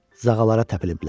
Zağalara təpiliblər.